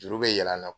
Juru bɛ yɛlɛ an na